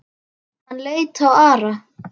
Hann leit á Ara.